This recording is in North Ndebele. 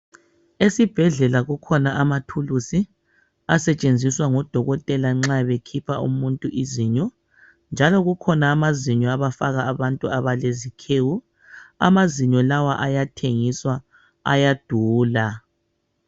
Esibhedlela kukhona amathulusi asetshenziswa ngodokotela nxa bekhipha umuntu izinyo njalo kukhona amazinyo abafaka abantu abalezikhewu. Amazinyo lawa ayathengiswa, ayadula.